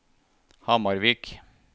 Hamarvik